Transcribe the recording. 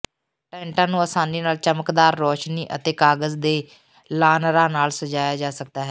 ਟੈਂਟਾਂ ਨੂੰ ਆਸਾਨੀ ਨਾਲ ਚਮਕਦਾਰ ਰੌਸ਼ਨੀ ਅਤੇ ਕਾਗਜ਼ ਦੇ ਲਾਅਨਰਾਂ ਨਾਲ ਸਜਾਇਆ ਜਾ ਸਕਦਾ ਹੈ